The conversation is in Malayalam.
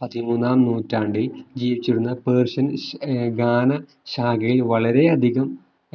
പതിമൂന്നാം നൂറ്റാണ്ടിൽ ജീവിച്ചിരുന്ന persian ഏർ ഗാന ശാഖയിൽ വളരെയധികം